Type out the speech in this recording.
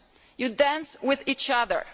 You dance with each other.